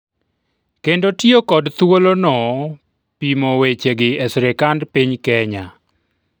kendo tiyo kod thuolono pimo wechegi e sirikand piny Kenya